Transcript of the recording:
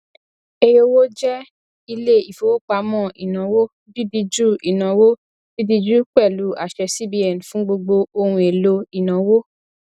eyowo jẹ ilé ìfowópamọ ìnáwó dídíjú ìnáwó dídíjú pẹlụ àṣẹ cbn fún gbogbo ohun èlò ìnáwó